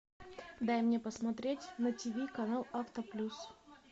дай мне посмотреть на тиви канал авто плюс